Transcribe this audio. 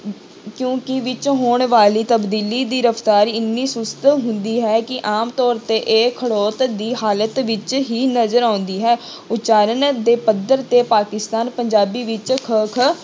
ਕਿਉਂਕਿ ਵਿੱਚ ਹੋਣ ਵਾਲੀ ਤਬਦੀਲੀ ਦੀ ਰਫ਼ਤਾਰ ਇੰਨੀ ਸੁਸਤ ਹੁੰਦੀ ਹੈ ਕਿ ਆਮ ਤੌਰ ਤੇ ਇਹ ਖੜੌਤ ਦੀ ਹਾਲਤ ਵਿੱਚ ਹੀ ਨਜ਼ਰ ਆਉਂਦੀ ਹੈ ਉਚਾਰਨ ਦੇ ਪੱਧਰ ਤੇ ਪਾਕਿਸਤਾਨ ਪੰਜਾਬੀ ਵਿੱਚ